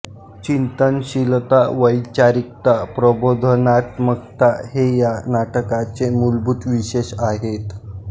चिंतनशीलता वैचारिकता प्रबोधनात्मकता हे या नाटकाचे मूलभूत विशेष आहेत